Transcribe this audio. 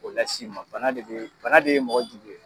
O las'i ma, bana de ye mɔgɔ jugu ye.